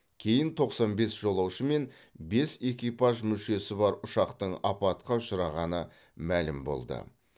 кейін тоқсан бес жолаушы мен бес экипаж мүшесі бар ұшақтың апатқа ұшырағаны мәлім болды